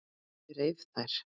Ég reif þær.